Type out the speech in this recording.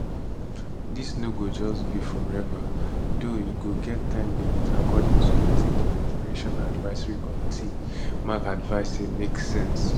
dis no go just be forever tho e go get time limit according to wetin di migration advisory committee mac advice say make sense